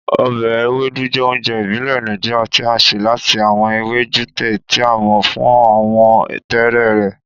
Ọbẹ Ewedu jẹ ounjẹ ibile Naijiria ti a ṣe lati awọn ewe jute, ti a mọ fun awọ tẹẹrẹ rẹ.